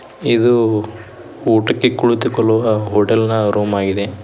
ಇದು ಊಟಕ್ಕೆ ಕುಳಿತುಕೊಳ್ಳುವ ಹೋಟೆಲ್ ನ ರೂಮ್ ಆಗಿದೆ.